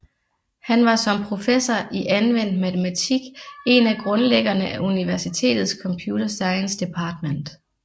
Han var som professor i anvendt matematik en af grundlæggerne af universitetets Computer Science Department